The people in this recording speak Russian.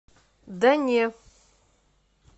да не